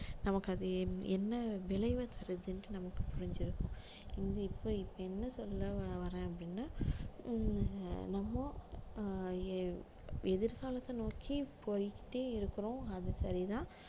நமக்கு அது என்~ என்ன விளைவை தருதுன்னுட்டு நமக்கு புரிஞ்சிருக்கும் இது இப்ப இப்ப என்ன சொல்ல வரேன் அப்படின்னா உம் நம்ம அஹ் எ~ எதிர்காலத்தை நோக்கி போய்க்கிட்டே இருக்கிறோம் அது சரிதான்